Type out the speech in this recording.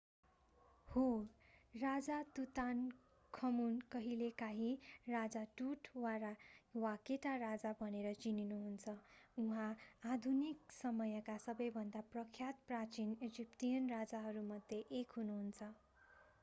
हो राजा तुतानखमुन कहिलेकाँही राजा टुट वा केटा राजा भनेर चिनिनुहुन्छ उहाँ आधुनिक समयका सबैभन्दा प्रख्यात प्राचीन इजिप्टियन राजाहरूमध्ये एक हुनुहुन्छ